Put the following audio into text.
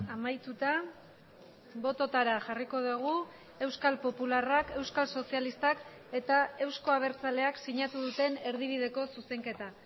amaituta bototara jarriko dugu euskal popularrak euskal sozialistak eta euzko abertzaleak sinatu duten erdibideko zuzenketa